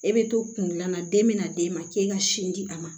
E bɛ to kundilan na den bɛna d'e ma k'e ka sin di a ma